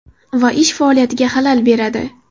Va ish faoliyatiga xalal beradi.